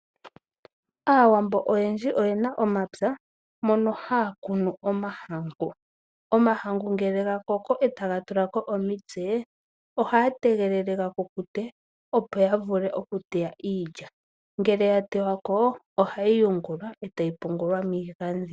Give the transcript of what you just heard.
Aawambo oyendji oyena omapwa mono haya kunu omahangu. Omahangu ngele gakoko, etaga tula ko omitse ohaya tegelele gakukute opo yatameke okuteya iilya. Ngele yatewako ohayi yungulwa etayi pungulwa miigandhi.